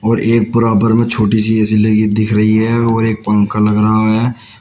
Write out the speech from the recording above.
और एक बराबर में छोटी सी ए_सी लगी दिख रही है और एक पंख लग रहा है।